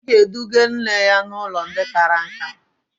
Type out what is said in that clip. Ọ ga-eduga nne ya n'ụlọ ndị kara nka.